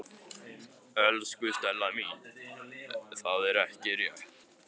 Elsku Stella mín, það er ekki rétt.